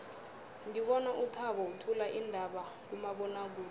ngibona uthabo uthula iindaba kumabonwakude